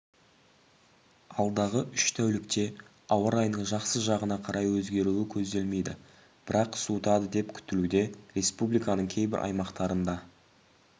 алдағы үш тәулікте ауа-райының жақсы жағына қарай өзгеруі көзделмейді бірақ суытады деп күтілуде республиканың кейбір аймақтарында